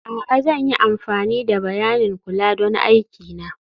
a'a, zan yi amfani da bayanin kula don aiki na